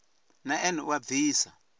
na ene u a bvisa